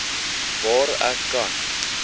waar kan ek